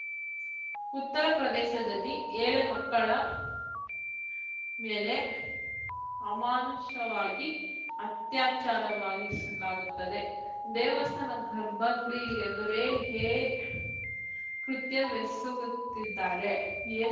ಉತ್ತರ ಪ್ರದೇಶದಲ್ಲಿ ಎಳೆ ಮಕ್ಕಳ ಮೇಲೆ ಅಮಾನುಷವಾಗಿ ಅತ್ಯಾಚಾರವಾಗಿಸಲಾಗುತ್ತಿದೆ ದೇವಸ್ಥಾನ ಗರ್ಭ ಗುಡಿ ಎದುರೇ ಹೇ ಕೃತ್ಯವೆಸಗುತ್ತಿದ್ದಾರೆ